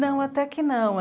Não, até que não.